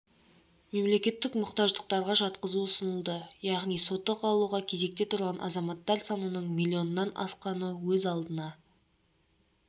мемлекеттік мұқтаждықтарға жатқызу ұсынылды яғни сотық алуға кезекте тұрған азаматтар санының миллионнан асқаны өз алдына